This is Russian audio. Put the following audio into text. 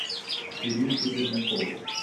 иришке пермяковой